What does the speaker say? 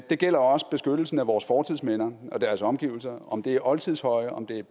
det gælder også beskyttelsen af vores fortidsminder og deres omgivelser om det er oldtidshøje om det er